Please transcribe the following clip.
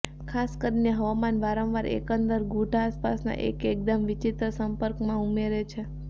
ખાસ કરીને હવામાન વારંવાર એકંદર ગૂઢ આસપાસના એક એકદમ વિચિત્ર સંપર્કમાં ઉમેરે છે